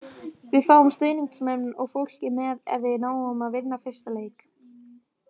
Við fáum stuðningsmenn og fólkið með ef við náum að vinna fyrsta leik.